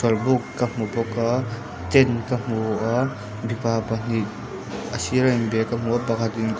chawlhbuk ka hmu bawk a tent ka hmu a mipa pahnih a sira in bia ka hmu a pakhat in--